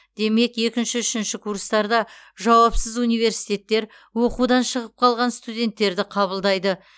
демек екінші үшінші курстарда жауапсыз университеттер оқудан шығып қалған студенттерді қабылдайды